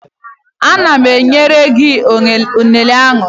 Ana m enyere gị unere a